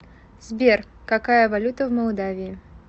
сбер какая валюта в молдавии